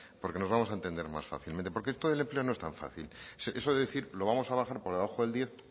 porque nos vamos a entender más fácilmente porque esto del empleo no es tan fácil eso de decir lo vamos a bajar por debajo del diez